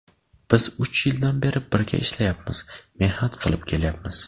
Biz uch yildan beri birga ishlayapmiz, mehnat qilib kelyapmiz.